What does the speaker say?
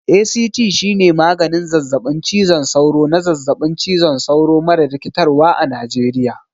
ACT shine maganin zazzaɓin cizon sauro na zazzaɓin cizon sauro mara rikitarwa a Najeriya.